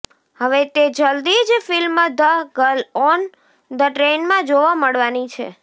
હવે તે જલ્દી જ film the girl on the ટ્રેનમાં જોવા મળવાની છે